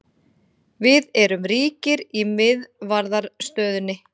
Við erum ríkir í miðvarðarstöðunni.